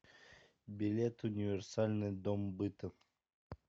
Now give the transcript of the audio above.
билет универсальный дом быта